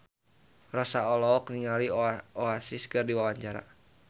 Rossa olohok ningali Oasis keur diwawancara